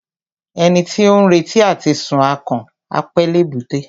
Ẹni tí ó ń retí àti sun akàn, á pẹ́ l'èbúté.